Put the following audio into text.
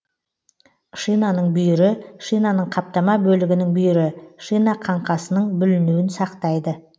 шинаның бүйірі шинаның каптама бөлігінің бүйірі шина қаңқасының бүлінуін сақтайды